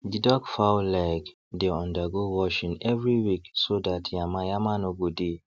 the duck fowl leg dey undergo washing every week so that yamayama no go dey